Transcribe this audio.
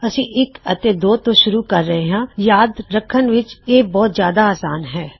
ਅਸੀਂ ਇੱਕ ਅਤੇ ਦੋ ਤੋਂ ਸ਼ੁਰੂ ਕਰ ਰਹੇ ਹਾਂ ਅਸੀਂ ਇਹ ਪ੍ਰਾਪਤ ਕਿੱਤਾ ਕੀ ਇਹ ਯਾਦ ਰਖਣ ਵਿੱਚ ਜਿਆਦਾ ਅਸਾਨ ਹੈ